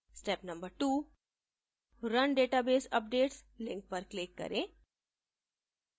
step no 2: run database updates link पर click करें